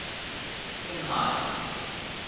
kinhide